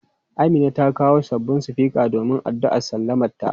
Amina ta kawo sabon sufika domin addu'ar sallamanta.